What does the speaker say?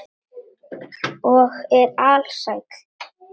Og er alsæll.